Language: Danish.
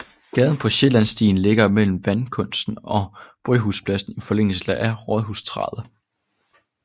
Gaden på Sjællandssiden ligger mellem Vandkunsten og Bryghuspladsen i forlængelse af Rådhusstræde